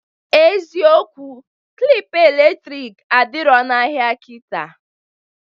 Eziokwu klịp elektrik adiro n'ahịa kịta